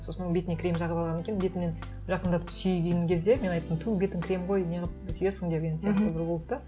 сосын бетіне крем жағып алған екен бетімнен жақындатып сүйейін деген кезде мен айттым ту бетің крем ғой не қылып сүйесің деген сияқты бір болды да